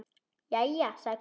Jæja, sagði Kobbi.